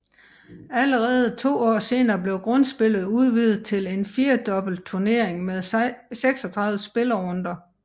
Allerede to år senere blev grundspillet udvidet til en firedobbeltturnering med 36 spillerunder